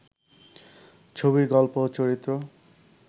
ছবির গল্প ও চরিত্র